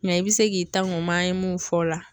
Mɛ i bɛ se k'i ta an mun fɔ o la